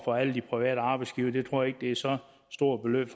på alle de private arbejdsgivere det tror jeg ikke er så stort et